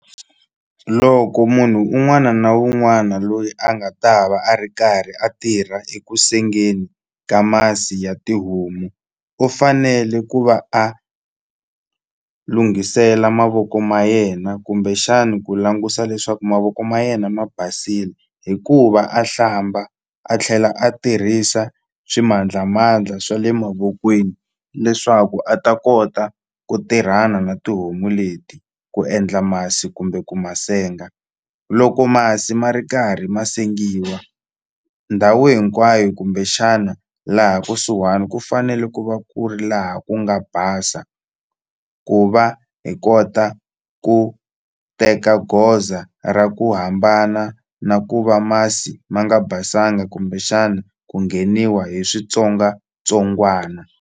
Loko munhu un'wana na un'wana loyi a nga ta va a ri karhi a tirha ekusengeni ka masi ya tihomu u fanele ku va a lunghisela mavoko ma yena kumbexani ku langusa leswaku mavoko ma yena ma basile hikuva a hlamba a tlhela a tirhisa swimandlamandla swa le mavokweni leswaku a ta kota ku tirhana na tihomu leti ku endla masi kumbe ku ma senga loko masi ma ri karhi ma sengiwa ndhawu hinkwayo kumbexana laha kusuhani ku fanele ku va ku ri laha ku nga basa ku va hi kota ku teka goza ra ku hambana na ku va masi ma nga basanga kumbexana ku ngheniwa hi switsongwatsongwana.